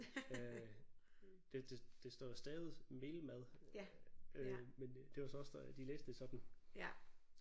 Øh det det det står jo stavet mel mad øh men øh det var så også der de læste det sådan